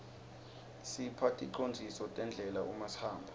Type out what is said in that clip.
isipha ticondziso tendlela uma sihamba